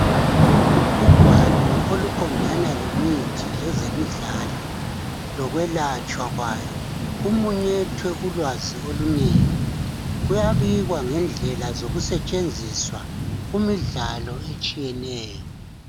Kugwalo oluqondana lemithi lezemidlalo lokwelatshwa kwayo, kumunyethwe ulwazi olunengi. Kuyabikwa ngendlela zokusetshenziswa kumidlalo etshiyeneyo.